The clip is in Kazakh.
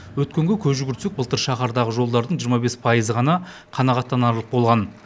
өткенге көз жүгіртсек былтыр шаһардағы жолдардың жиырма бес пайызы ғана қанағаттанарлық болған